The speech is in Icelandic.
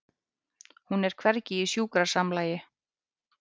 Hún er hvergi í sjúkrasamlagi.